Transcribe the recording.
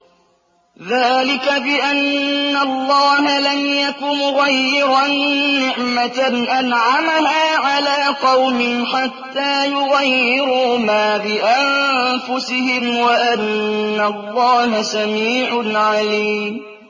ذَٰلِكَ بِأَنَّ اللَّهَ لَمْ يَكُ مُغَيِّرًا نِّعْمَةً أَنْعَمَهَا عَلَىٰ قَوْمٍ حَتَّىٰ يُغَيِّرُوا مَا بِأَنفُسِهِمْ ۙ وَأَنَّ اللَّهَ سَمِيعٌ عَلِيمٌ